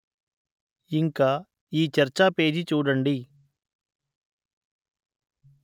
ఇంక ఈ చర్చా పేజి చూడండి